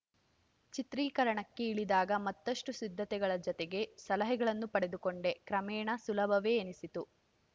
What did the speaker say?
ಚಿತ್ರೀಕರಣಕ್ಕೆ ಇಳಿದಾಗ ಮತ್ತಷ್ಟುಸಿದ್ಧತೆಗಳ ಜತೆಗೆ ಸಲಹೆಗಳನ್ನು ಪಡೆದುಕೊಂಡೆ ಕ್ರಮೇಣ ಸುಲಭವೇ ಎನಿಸಿತು